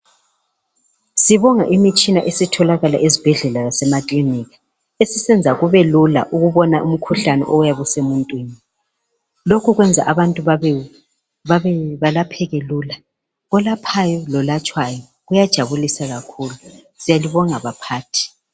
Sibonga imitshina esitholakala ezibhedlela lasemakilinika esisenza kube lula ukubona umkhuhlane oyabe usemuntwini lokho kwenza abantu belapheke lula olaphayo lolatshwayo kuyajabulisa kakhulu siyalibonga baphathi .